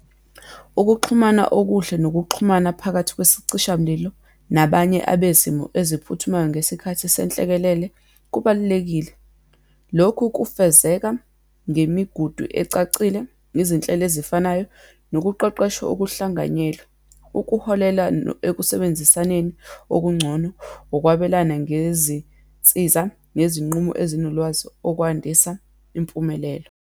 Ukuxhumana okuhle nokuxhumana phakathi kwesicishamlilo nabanye abezimo eziphuthumayo ngesikhathi senhlekelele, kubalulekile. Lokhu kufezeka ngemigudu ecacile, izinhlelo ezifanayo, nokuqeqeshwa okuhlanganyelwe, ukuholela ekusebenzisaneni okungcono, ukwabelana ngezinsiza nezinqumo ezinolwazi, okwandiswa impumelelo.